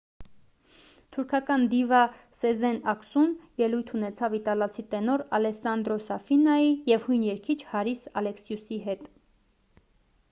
թուրքական դիվա սեզեն ակսուն ելույթ ունեցավ իտալացի տենոր ալեսսանդրո սաֆինայի և հույն երգիչ հարիս ալեքսիուի հետ